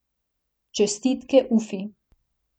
Čestitke Ufi.